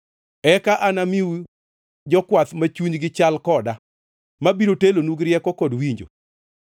Eka anamiu jokwath ma chunygi chal koda, mabiro telonu gi rieko kod winjo.”